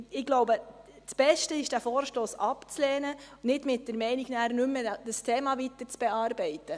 Ich glaube, das Beste ist, diesen Vorstoss abzulehnen, nicht mit der Meinung, dieses Thema nicht weiterzuverfolgen.